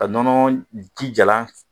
Ka nɔnɔ ji jalan